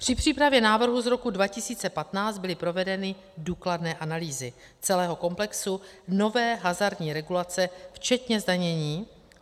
Při přípravě návrhu z roku 2015 byly provedeny důkladné analýzy celého komplexu nové hazardní regulace včetně zdanění.